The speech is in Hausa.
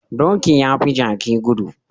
Doki yafi Jaki gudu